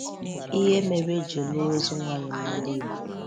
Ihe mere e ji lụọ ozu nwaanyị n’ala Igbo.